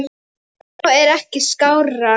Talmál er ekki skárra.